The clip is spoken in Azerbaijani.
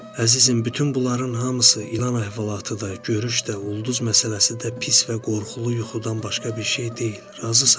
Əzizim, bütün bunların hamısı ilan əhvalatı da, görüş də, ulduz məsələsi də pis və qorxulu yuxudan başqa bir şey deyil, razısanmı?